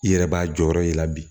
I yɛrɛ b'a jɔyɔrɔ y'i la bi